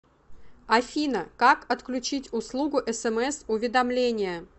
афина как отключить услугу смс уведомления